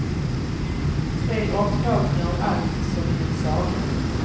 Tre omtagningar av allt som i en saga.